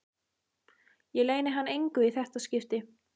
Ég leyni hann engu í þetta skipti.